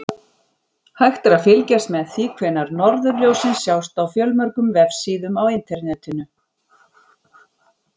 Hægt er að fylgjast með því hvenær norðurljósin sjást á fjölmörgum vefsíðum á Internetinu.